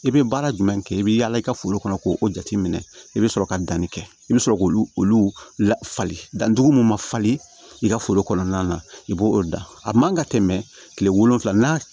I bɛ baara jumɛn kɛ i bɛ yala i ka foro kɔnɔ k'o jateminɛ i bɛ sɔrɔ ka danni kɛ i bɛ sɔrɔ k'olu lafali dan dugu min ma falen i ka foro kɔnɔna na i b'o dan a man ka tɛmɛ kile wolonwula n'a